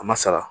A ma sara